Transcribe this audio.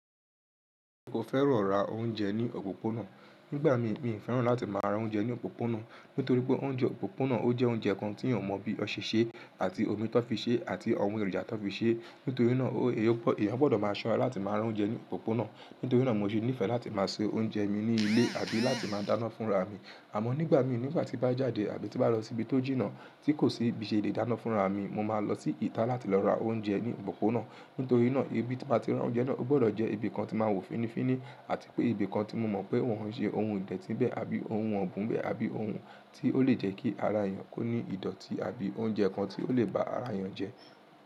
Mo fẹ́ràn ra oúnjẹ ní òpópónà. Nígbà mí, mi ò fẹ́ràn láti máa ra oúnjẹ ní òpópónà. Nítorí pé oúnjẹ òpópónà ó jẹ́ oúnjẹ kan tí èèyàn o mọ̀ bí wọn ṣẹ ṣe, àti omi tó fi ṣe, àti àwọn èròjà tó n fi ṣe. Nítorí náà, èèyàn gbọdọ̀ máa ṣọ́ra láti máa ra oúnjẹ ní òpópónà. Nítorí náà mo ṣe nífẹ̀ẹ́ láti máa se oúnjẹ mi ní ilé àbí láti máa dáná fúnra mi. Àmọ́ nígbà mí, nígbà tí n bá jáde àbí tí n bá lọ síbi tó jìnnà, tí kò síbi n ṣe lè dáná fúnra mi, mo máa lọ sí ìta láti lọ ra oúnjẹ ní òpópónà. Nítorí náà, ibi tí máa ti ra oúnjẹ náà ó gbọdọ̀ jẹ́ ibi kan tí máa wò fínnífínní àti pé ibi kan tí mo mọ̀ pé wọ́n ń ṣe ohun ìdẹ̀tí n bẹ́ẹ̀ àbí ohun ọ̀bùn n bẹ́ẹ̀ àbí ohun tí ó lè jẹ́ kí ara èèyàn kó ní ìdọ̀tí àbí oúnjẹ kan tí ó lè ba ara èèyàn jẹ́.